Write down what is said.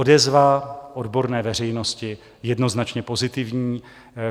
Odezva odborné veřejnosti - jednoznačně pozitivní.